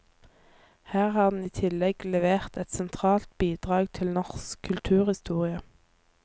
Her har han i tillegg levert et sentralt bidrag til norsk kulturhistorie.